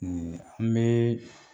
Ee an bɛ